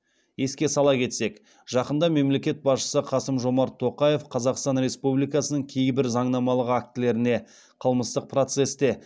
еске сала кетсек жақында мемлекет басшысы қасым жомарт тоқаев қазақстан республикасының кейбір заңнамалық актілеріне қылмыстық процесте